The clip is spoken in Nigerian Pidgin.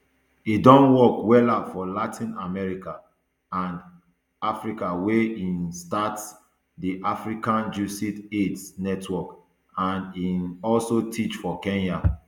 e don work wella for latin america and africa wia e um start di african jesuit aids network and um also teach for kenya